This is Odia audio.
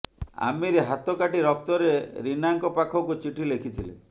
ଆମିର୍ ହାତ କାଟି ରକ୍ତରେ ରୀନାଙ୍କ ପାଖକୁ ଚିଠି ଲେଖିଥିଲେ